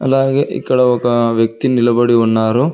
అలాగే ఇక్కడ ఒక వ్యక్తి నిలబడి ఉన్నారు.